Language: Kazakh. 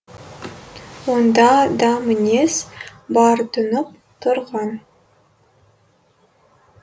онда да мінез бар тұнып тұрған